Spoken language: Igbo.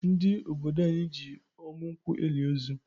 Ndi ododo anyị ji ọmụ nkwụ eli ozu